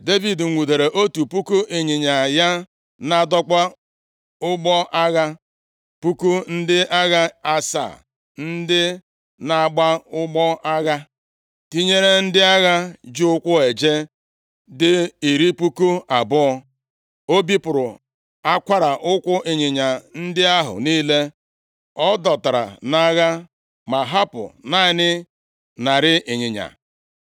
Devid nwudere otu puku ịnyịnya ya na-adọkpụ ụgbọ agha, puku ndị agha asaa ndị na-agba ụgbọ agha, tinyere ndị agha ji ụkwụ eje dị iri puku abụọ. O bipụrụ akwara ụkwụ ịnyịnya ndị ahụ niile ọ dọtara nʼagha, ma hapụ naanị narị ịnyịnya.